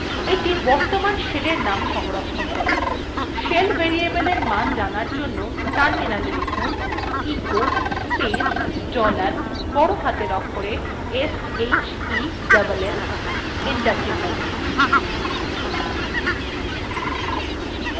shell variable এর মান জানার জন্য terminal লিখুন